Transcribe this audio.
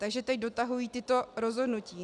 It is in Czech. Takže teď dotahují tato rozhodnutí.